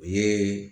U ye